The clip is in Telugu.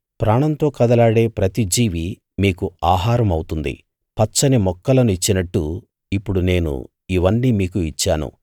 ప్రాణంతో కదలాడే ప్రతి జీవీ మీకు ఆహారం అవుతుంది పచ్చని మొక్కలను ఇచ్చినట్టు ఇప్పుడు నేను ఇవన్నీ మీకు ఇచ్చాను